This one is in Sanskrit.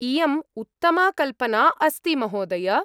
इयम् उत्तमा कल्पना अस्ति, महोदय।